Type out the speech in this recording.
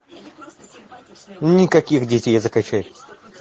никаких детей закачай